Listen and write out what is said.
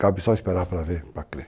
Cabe só esperar para ver, para crer.